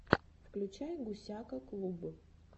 включай гусяка клуб